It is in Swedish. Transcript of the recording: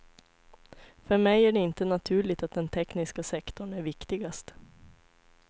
För mig är det inte naturligt att den tekniska sektorn är viktigast.